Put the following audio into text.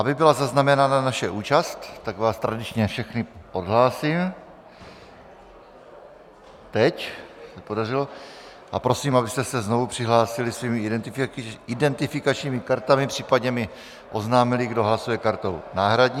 Aby byla zaznamenána naše účast, tak vás tradičně všechny odhlásím, teď se podařilo, a prosím, abyste se znovu přihlásili svými identifikačními kartami, případně mi oznámili, kdo hlasuje kartou náhradní.